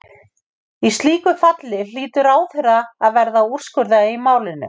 Í slíku falli hlýtur ráðherra að verða að úrskurða í málinu.